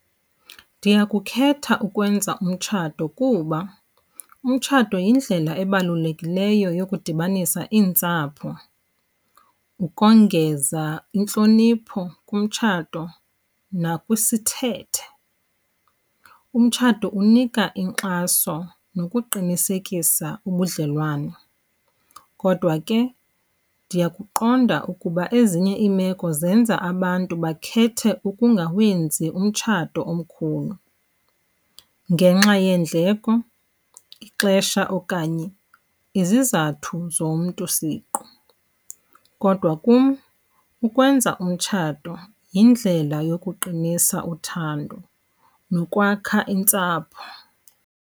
Ndiyakukhetha ukwenza umtshato kuba umtshato yindlela ebalulekileyo yokudibanisa iintsapho, ukongeza intlonipho kumtshato nakwisithethe. Umtshato unika inkxaso nokuqinisekisa ubudlelwane. Kodwa ke ndiyakuqonda ukuba ezinye iimeko zenza abantu bakhethe ukungawenzi umtshato omkhulu ngenxa yeendleko, ixesha okanye izizathu zomntu siqu. Kodwa kum ukwenza umtshato yindlela yokuqinisa uthando nokwakha intsapho.